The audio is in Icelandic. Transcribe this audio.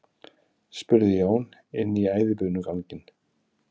spurði Jón inn í æðibunuganginn.